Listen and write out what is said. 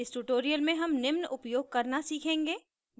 इस ट्यूटोरियल में हम निम्न उपयोग करना सीखेंगे